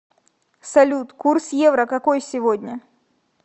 салют курс евро какой сегодня